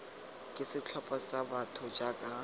ke setlhopha sa batho jaaka